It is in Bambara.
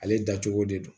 Ale dacogo de don